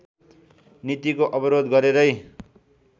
नीतिको विरोध गरेरै